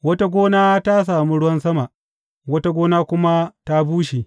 Wata gona ta sami ruwan sama; wata gona kuma ta bushe.